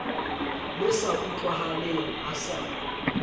le sa utlwahaleng a sa